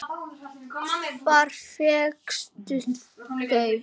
Hvar fékkstu þau?